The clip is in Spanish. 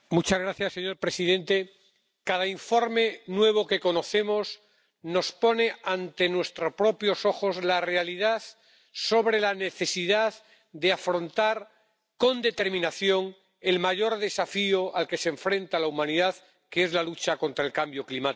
Señor presidente, cada informe nuevo que conocemos nos pone ante nuestros propios ojos la realidad sobre la necesidad de afrontar con determinación el mayor desafío al que se enfrenta la humanidad, que es la lucha contra el cambio climático.